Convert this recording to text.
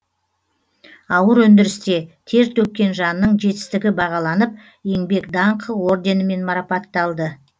ауыр өндірісте тер төккен жанның жетістігі бағаланып еңбек даңқы орденімен марапатталды